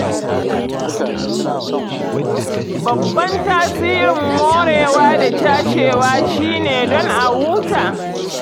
Babban tasirin morewa da cashewa shi ne don a huta.